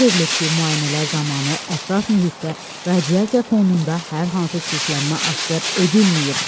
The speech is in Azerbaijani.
Bildirilib ki, müayinələr zamanı ətraf mühitdə radiasiya fonunda hər hansı çirklənmə aşkar edilməyib.